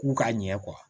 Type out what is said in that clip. K'u ka ɲɛ